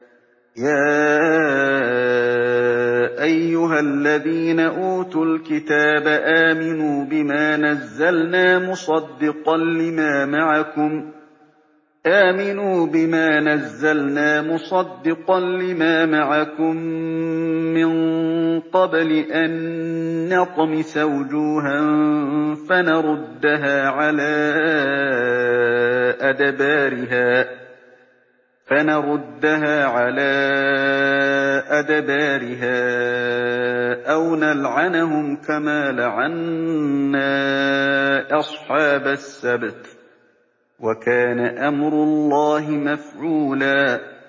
يَا أَيُّهَا الَّذِينَ أُوتُوا الْكِتَابَ آمِنُوا بِمَا نَزَّلْنَا مُصَدِّقًا لِّمَا مَعَكُم مِّن قَبْلِ أَن نَّطْمِسَ وُجُوهًا فَنَرُدَّهَا عَلَىٰ أَدْبَارِهَا أَوْ نَلْعَنَهُمْ كَمَا لَعَنَّا أَصْحَابَ السَّبْتِ ۚ وَكَانَ أَمْرُ اللَّهِ مَفْعُولًا